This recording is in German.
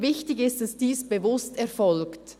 «Wichtig ist, dass dies bewusst erfolgt.